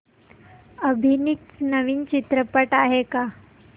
अभिनीत नवीन चित्रपट आहे का